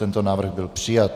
Tento návrh byl přijat.